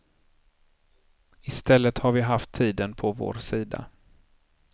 Istället har vi haft tiden på vår sida.